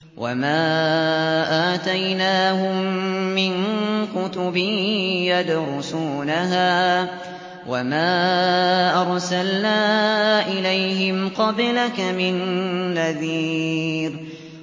وَمَا آتَيْنَاهُم مِّن كُتُبٍ يَدْرُسُونَهَا ۖ وَمَا أَرْسَلْنَا إِلَيْهِمْ قَبْلَكَ مِن نَّذِيرٍ